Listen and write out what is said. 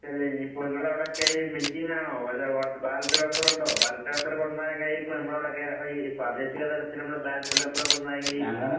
അല്ല ഇനീപ്പോ ഇങ്ങളവടൊക്കെ ഈ മെഷീൻ ആണോ മറ്റേ വോട്ടർ ബാലറ്റ് പേപ്പറുണ്ടോ? ബാലറ്റ് പേപ്പറ് കൊണ്ടന്നാ എങ്ങനെയിരിക്കും നമ്മടവടൊക്കെയീ പ്രാദേശിക തലത്തിൽ നമ്മൾ ബാലറ്റ് പേപ്പർ കൊണ്ടന്നാ എങ്ങനെയിരിക്കും?